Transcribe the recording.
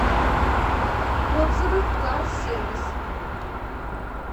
отзывы карсервис